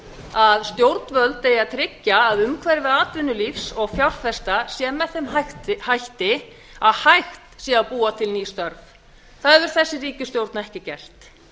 að stjórnvöld eigi að tryggja að umhverfi atvinnulífs og fjárfesta sé með þeim hætti að hægt sé að búa til ný störf það hefur þessi ríkisstjórn ekki gert